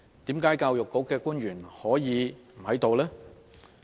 為何教育局的官員可以不出席呢？